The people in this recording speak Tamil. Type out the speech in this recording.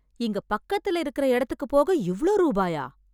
இங்க பக்கத்துல இருக்கற இடத்துக்கு போக இவ்ளோ ரூபாயா...